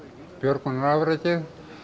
björgunarafrekið